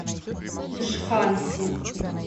джханси